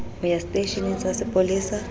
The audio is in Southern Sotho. ho ya seteisheneng sa sepolesa